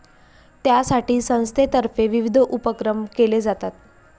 त्यासाठी संस्थेतर्फे विविध उपक्रम केले जातात.